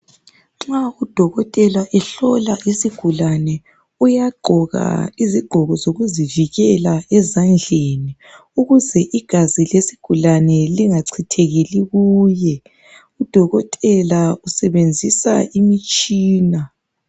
Nxa udokotela ehlola isigulane uyagqoka izigqoko zokuzivikela ezandleni ukuze igazi lesigulane lingachithekeli kuye udokotela usebenzisa imitshina.